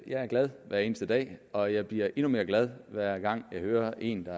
jeg er glad hver eneste dag og jeg bliver endnu mere glad hver gang jeg hører en der